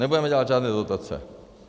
Nebudeme dělat žádné dotace.